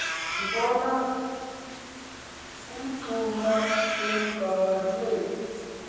sabona umngxuma emgangathwe